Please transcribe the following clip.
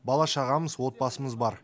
бала шағамыз отбасымыз бар